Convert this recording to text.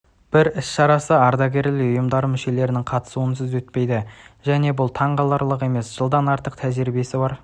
бір іс-шарасы ардагерлер ұйымдары мүшелерінің қатысуынсыз өтпейді және бұл таңғаларлық емес жылдан артық тәжірибесі бар